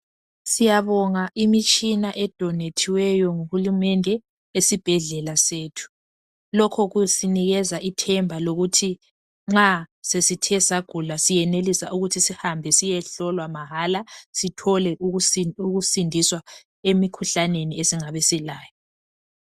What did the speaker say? Siyabonga imitshina edonethiweyo nguhulumende esibhedlela sethu. Lokho kusinikeza ithemba lokuthi nxa sesithe sagula siyenelisa ukuthi sihambe siyehlolwa mahala sithole ukusindiswa emikhuhlaneni esingabe silayo.